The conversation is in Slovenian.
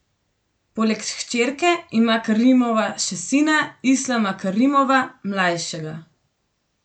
Poleg hčerke ima Karimova še sina, Islama Karimova mlajšega.